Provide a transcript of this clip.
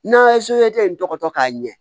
N'a ye in tɔgɔ dɔn k'a ɲɛ